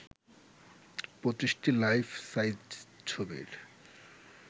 ২৫টি life size ছবির